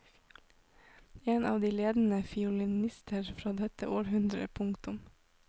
En av de ledende fiolinister fra dette århundre. punktum